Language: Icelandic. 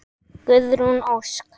Guðrún Ósk.